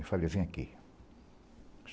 Eu falei, vem aqui.